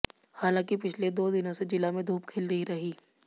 हालांकि पिछले दो दिनों से जिला में धूप खिली रही